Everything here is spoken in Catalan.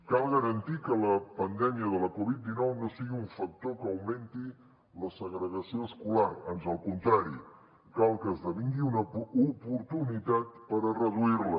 cal garantir que la pandèmia de la covid dinou no sigui un factor que augmenti la segregació escolar ans al contrari cal que esdevingui una oportunitat per a reduir la